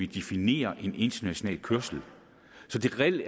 definere en international kørsel så det reelt